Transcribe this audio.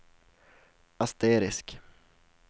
asterisk